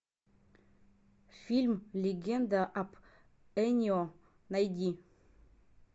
фильм легенда об энио найди